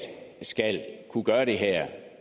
skal kunne gøre det her